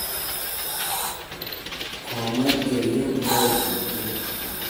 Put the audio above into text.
Komwet Kerio ngoroik chik tugul.